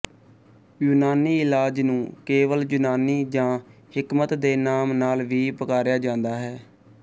ਯੂਨਾਨੀ ਇਲਾਜ ਨੂੰ ਕੇਵਲ ਯੂਨਾਨੀ ਜਾਂ ਹਿਕਮਤ ਦੇ ਨਾਮ ਨਾਲ ਵੀ ਪੁਕਾਰਿਆ ਜਾਂਦਾ ਹੈ